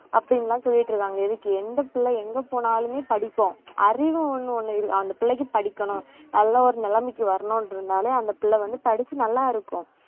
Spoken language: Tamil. அப்பிடின்னு எல்லாம் சொல்லிட்டு இருக்காங்க எதுக்கு எந்த பிள்ளை எங்க போனாலுமே படிக்கும் அறிவு ஒண்ணு ஒண்ணு இருக்கு அந்த பிள்ளைக்கு படிக்கணும் நல்ல ஒரு நிலைமைக்கு வரணும்ன்றதனால அந்த பிள்ளை வந்து படிச்சு நல்லா இருக்கும்